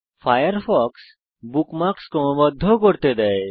Firefox আপনাকে bookmarks ক্রমবদ্ধ ও করতে দেয়